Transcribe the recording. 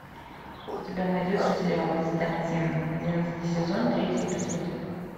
у тебя найдется сериал константин одиннадцатый сезон третий эпизод